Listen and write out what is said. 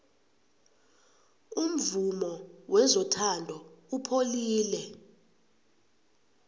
umvumo wezothando upholile